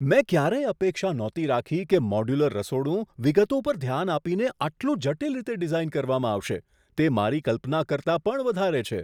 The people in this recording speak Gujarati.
મેં ક્યારેય અપેક્ષા નહોતી રાખી કે મોડ્યુલર રસોડું વિગતો પર ધ્યાન આપીને આટલું જટિલ રીતે ડિઝાઈન કરવામાં આવશે! તે મારી કલ્પના કરતાં પણ વધારે છે.